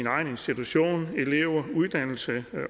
egen institution elever uddannelse